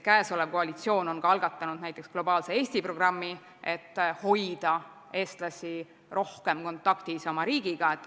Praegune koalitsioon on algatanud ka Globaalse Eesti programmi, et hoida eestlasi rohkem oma riigiga kontaktis.